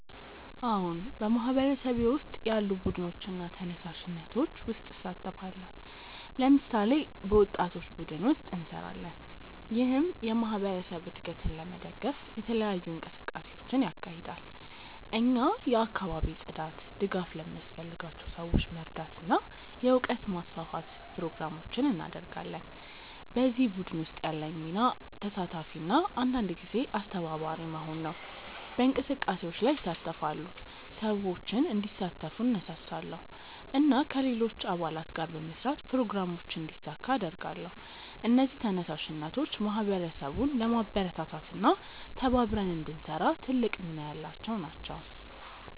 አዎን፣ በማህበረሰቤ ውስጥ ያሉ ቡድኖችና ተነሳሽነቶች ውስጥ እሳተፋለሁ። ለምሳሌ፣ በወጣቶች ቡድን ውስጥ እንሰራለን፣ ይህም የማህበረሰብ እድገትን ለመደገፍ የተለያዩ እንቅስቃሴዎችን ያካሂዳል። እኛ የአካባቢ ጽዳት፣ ድጋፍ ለሚያስፈልጋቸው ሰዎች መርዳት እና የእውቀት ማስፋፋት ፕሮግራሞችን እናደርጋለን። በዚህ ቡድን ውስጥ ያለኝ ሚና ተሳታፊ እና አንዳንድ ጊዜ አስተባባሪ መሆን ነው። በእንቅስቃሴዎች ላይ እሳተፋለሁ፣ ሰዎችን እንዲሳተፉ እነሳሳለሁ እና ከሌሎች አባላት ጋር በመስራት ፕሮግራሞችን እንዲሳካ እረዳለሁ። እነዚህ ተነሳሽነቶች ማህበረሰቡን ለማበረታታት እና ተባብረን እንድንሰራ ትልቅ ሚና ያላቸው ናቸው።